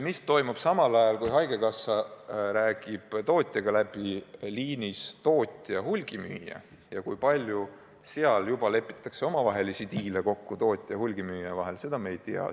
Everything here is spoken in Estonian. Mis toimub ajal, kui haigekassa räägib tootjaga läbi, liinis tootja–hulgimüüja, kui palju tootja ja hulgimüüja vahel omavahelisi diile kokku lepitakse, seda me ei tea.